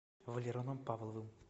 валероном павловым